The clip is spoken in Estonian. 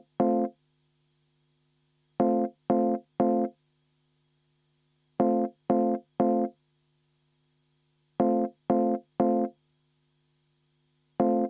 Helir, väike täpsustus: enne hääletust.